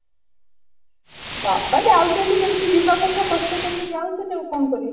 ବାପା ଯାଉଛନ୍ତି ଯେମତି ଯିବା କଥା କଷ୍ଟ କରିକି ଯାଉଛନ୍ତି ଆଉ କଣ କରିବେ